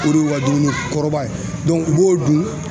O de y'u ka dumuni kɔrɔbaya ye u b'o dun